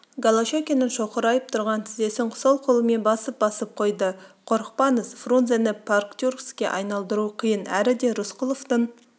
голошекиннің шоқырайып тұрған тізесін сол қолымен басып-басып қойды қорықпаңыз фрунзені пантюркистке айналдыру қиын әрі десе рысқұловтың